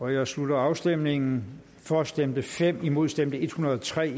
jeg slutter afstemningen for stemte fem imod stemte en hundrede og tre